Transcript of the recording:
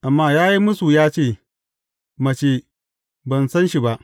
Amma ya yi mūsu ya ce, Mace, ban san shi ba!